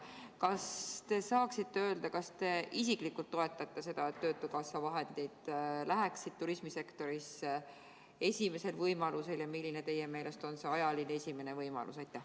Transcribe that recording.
Kas te saaksite öelda, kas te isiklikult toetate seda, et töötukassa vahendid läheksid turismisektorisse esimesel võimalusel, ja milline teie meelest on see ajaline esimene võimalus?